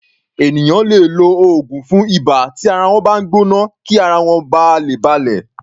Ènìyàn lè lo oògùn fún ibà tí ara wọ́n bá ń gbọ́ná kí ara wọ́n ba lè balẹ̀.